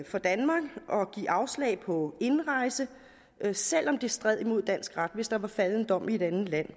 for danmark at give afslag på indrejse selv om det stred mod dansk ret hvis der var faldet en dom i et andet land